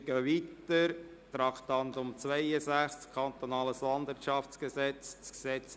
Wir fahren weiter und kommen zum Traktandum 62, dem Kantonalen Landwirtschaftsgesetz (KLwG).